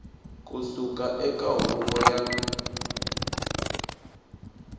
ku suka eka huvo ya